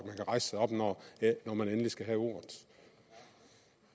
rejse sig op når man endelig skal have ordet